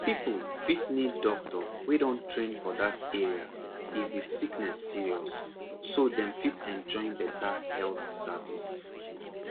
people fit need doctor wey don train for that area if the sickness serious so dem fit enjoy better health service